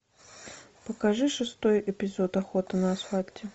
покажи шестой эпизод охоты на асфальте